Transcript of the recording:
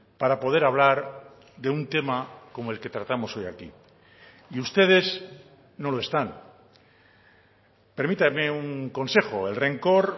para poder hablar de un tema como el que tratamos hoy aquí y ustedes no lo están permítame un consejo el rencor